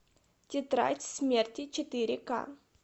тетрадь смерти четыре ка